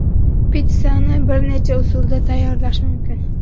Pitssani bir necha usulda tayyorlash mumkin.